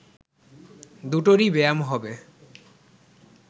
দুটোরই ব্যায়াম হবে